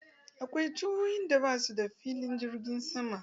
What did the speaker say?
Akwai jihohin da ba su da filin jirgin sama.